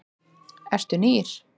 Eru nýr?